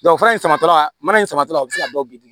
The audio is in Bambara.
fura in samatɔla mana in samatɔla o bɛ se ka bɔ bi dun